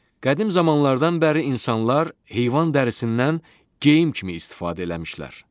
Qədim zamanlardan bəri insanlar heyvan dərisindən geyim kimi istifadə eləmişlər.